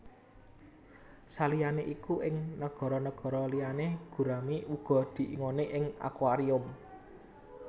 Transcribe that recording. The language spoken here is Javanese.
Saliyané iku ing nagara nagara liyané gurami uga diingoni ing akuarium